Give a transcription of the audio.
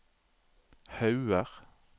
Hauger